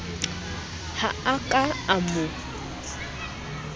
ha a ka a mo